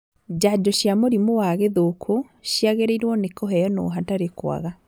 Njajo cia mũrimũ wa gĩthũkũ ciagĩrĩirwo nĩ kũheanwo hatarĩ kwaga